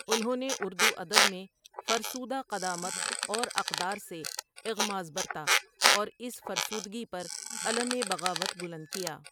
انھوں نے اردو ادب میں فرسودہ قدامت اور اقدار سے اغماض برتا اور اس فرسودگی پر علم بغاوت بلند کیا ۔